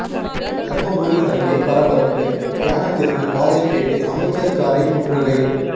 தர்மபுரி அருகே பரபரப்பு மயானத்திற்கு பாதை கேட்டு அமைச்சர் காரை முற்றுகை